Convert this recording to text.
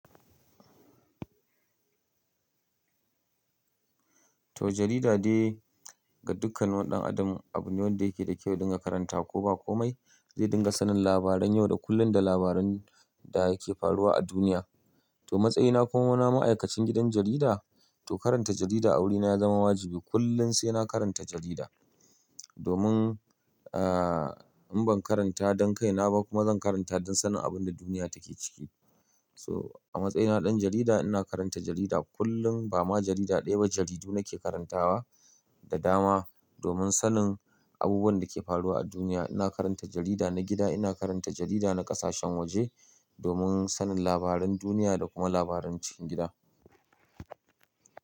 To, jarida dai ga dukkanin wani ɗan adam abu ne wanda yake da kyau dinga karanta. Ko ba komai zai dinga sanin labaran yau da kullun da labaran da yake faruwa a duniya. To, matsayina kuma na ma'aikacin gidan jarida, to karanta jarida a wurina ya zama wajibi. Kullum sai na karanta jarida domin, aa, in ban karanta don kaina ba kuma zan karanta don sanin abun da duniya take ciki. So a matsayina na ɗan jarida ina karanta jarida kullum. Ba ma jarida ɗaya ba, jaridu nake karantawa da dama domin sanin abubuwan da ke faruwa a duniya. Ina karanta jarida na gida, ina karanta jarida na ƙasashen waje domin sanin labaran duniya da kuma labaran cikin gida.